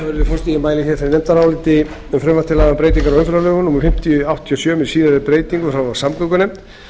frumvarp til laga um breytingar á umferðarlögum númer fimmtíu nítján hundruð áttatíu og sjö með síðari breytingum frá samgöngunefnd